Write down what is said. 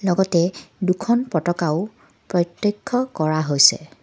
লগতে দুখন পতাকাও প্ৰত্যক্ষ কৰা হৈছে।